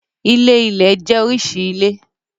Ilé-ilẹ̀ jẹ́ oríṣi ilé.